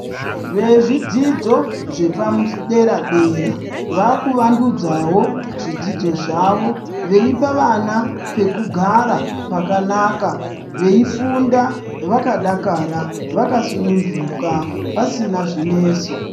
Vezvidzidzo zvepadera dera vakuvandudzawo zvidzidzo zvawo veipa vana pekugara pakanaka veifunda vakadakara vakasununguka pasina zvinetso.